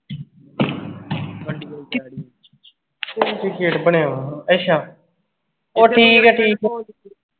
ਕਿਥੇ ਗੇਟ ਬਣਿਆ ਆਂ ਅੱਛਾ ਓਹ ਠੀਕ ਆ ਠੀਕ ਆ